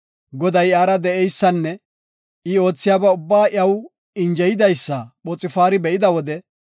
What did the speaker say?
Goday iyara de7eysanne I oothiyaba ubbaa iyaw injeyidaysa Phoxfaari be7ida wode,